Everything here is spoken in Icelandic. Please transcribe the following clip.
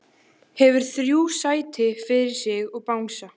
Hefur þrjú sæti fyrir sig og bangsa.